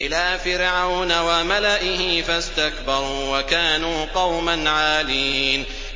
إِلَىٰ فِرْعَوْنَ وَمَلَئِهِ فَاسْتَكْبَرُوا وَكَانُوا قَوْمًا عَالِينَ